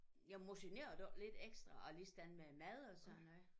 Jamen motionerede du ikke lidt ekstra og ligesådan med mad og sådan noget